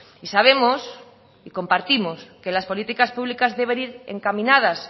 y sabemos y compartimos que las políticas públicas deben ir encaminadas